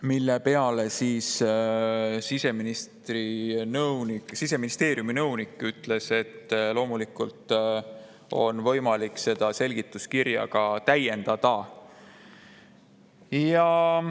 Selle peale Siseministeeriumi nõunik ütles, et loomulikult on võimalik seda selgituskirja täiendada.